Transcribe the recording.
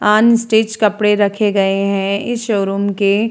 unstitch कपड़े रखे गए है इस शोरूम के --